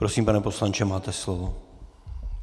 Prosím, pane poslanče, máte slovo.